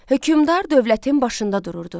Hökmdar dövlətin başında dururdu.